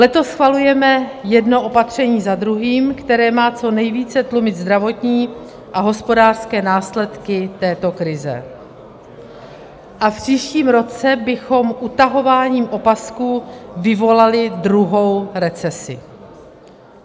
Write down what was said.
Letos schvalujeme jedno opatření za druhým, které má co nejvíce tlumit zdravotní a hospodářské následky této krize, a v příštím roce bychom utahováním opasků vyvolali druhou recesi.